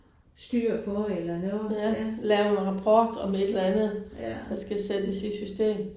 Styr på eller noget ja. Ja